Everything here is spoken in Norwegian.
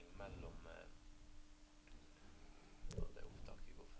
398